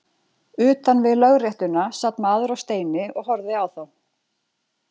Utan við lögréttuna sat maður á steini og horfði á þá.